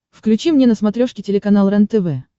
включи мне на смотрешке телеканал рентв